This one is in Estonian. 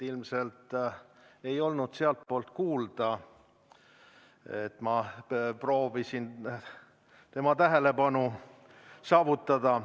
Ilmselt ei olnud sealtpoolt kuulda, et ma proovisin tema tähelepanu saada.